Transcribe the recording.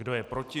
Kdo je proti?